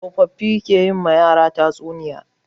Tsofaffi ke yi ma yara tatsuniya.